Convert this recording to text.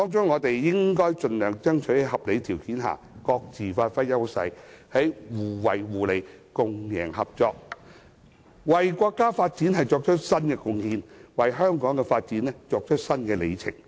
我們應盡量爭取在合理條件下，各自發揮優勢；在互惠互利、共贏合作下，為國家發展作出新貢獻，為香港的發展締造新里程。